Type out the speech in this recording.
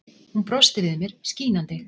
Hún brosti við mér, skínandi.